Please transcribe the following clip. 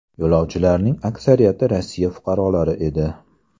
Yo‘lovchilarning aksariyati Rossiya fuqarolari edi.